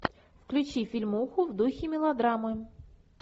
включи фильмуху в духе мелодрамы